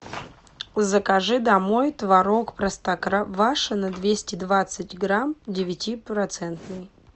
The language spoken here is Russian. закажи домой творог простоквашино двести двадцать грамм девятипроцентный